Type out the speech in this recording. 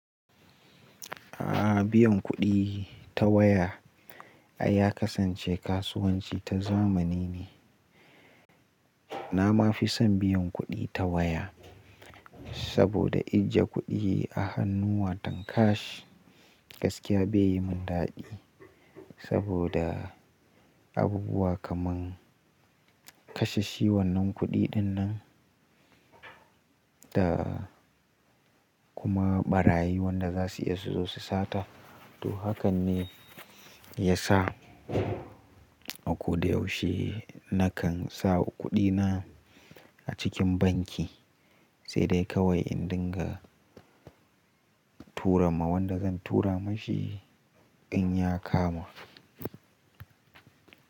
A'a biyan kuɗi ta waya ya kasance kasuwanci ta zamani ne. Na ma fi son biyan kuɗi ta waya saboda ijiye kuɗi a hannuwa tam cash gaskiya bai yi mun daɗi saboda abubuwa kaman kashe shi wannan kuɗi dinnan da kuma ɓarayi wanda za su iya su zo su sata. To hakan ne ya sa a ko da yaushe na kan sa kuɗi na a cikin banki, sai dai kawai in dinga tura ma wanda zan tura mishi in ya kama.